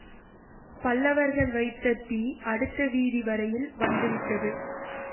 பல்லவர்கள் வைத்த தீ அடுத்த வீதி வரையில் வந்து விட்டது